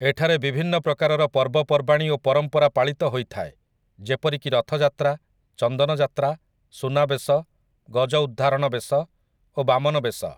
ଏଠାରେ ବିଭିନ୍ନ ପ୍ରକାରର ପର୍ବ ପର୍ବାଣୀ ଓ ପରମ୍ପରା ପାଳିତ ହୋଇଥାଏ ଯେପରିକି ରଥଯାତ୍ରା ଚନ୍ଦନଯାତ୍ରା ସୁନାବେଶ ଗଜଉଦ୍ଧାରଣବେଶ ଓ ବାମନବେଶ ।